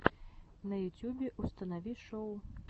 на ютюбе установи шоу